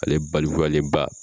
Ale balkuyalen ba !